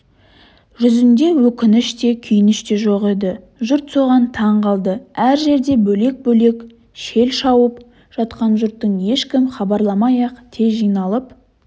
жүзінде өкініш те күйініш те жоқ еді жұрт соған таң қалды әр жерде бөлек-бөлек шеп шауып жатқан жұрттың ешкім хабарламай-ақ тез жиналып